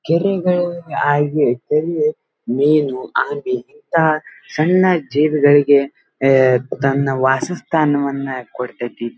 ಕೆರೆಗಳು ಹಾಗೆ ಮೀನು ಆಮಿ ಇಂತಹ ಸಣ್ಣ ಜೀವಿಗಳಿಗೆ ತನ್ನ ಅಹ್ ಅಹ್ ವಾಸಸ್ಥಾನವನ್ನ ಕೊಡ್ತತಿ.